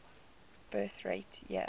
birth rate year